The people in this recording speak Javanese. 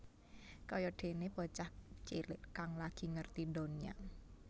Kaya déné bocah cilik kang lagi ngerti ndonya